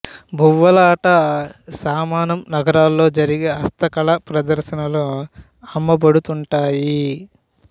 బువ్వాలట సామానం నగరాల్లో జరిగే హస్త కళా ప్రదర్శనల్లో అమ్మబడుతుంటాయి